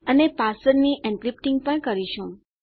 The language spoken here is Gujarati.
અને પાસવર્ડની એન્ક્રિપ્ટીંગ કરીશું